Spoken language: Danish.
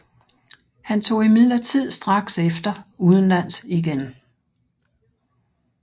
Han tog imidlertid straks efter udenlands igen